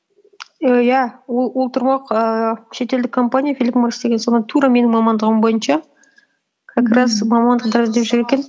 ііі иә ол тұрмақ ііі шетелдік компания филип моррис деген соған тура менің мамандығым бойынша как раз мамандықтар іздеп жүр екен